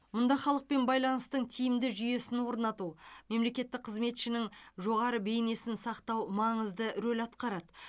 мұнда халықпен байланыстың тиімді жүйесін орнату мемлекеттік қызметшінің жоғары бейнесін сақтау маңызды рөл атқарады